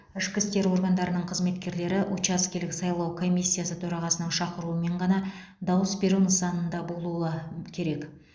ішкі істер органдарының қызметкерлері учаскелік сайлау комиссиясы төрағасының шақыруымен ғана дауыс беру нысанында болуы керек